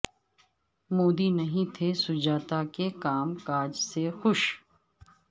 مودی نہیں تھے سجاتا کے کام کاج سے خوش